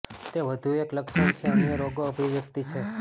તે વધુ એક લક્ષણ છે અન્ય રોગો અભિવ્યક્તિ છે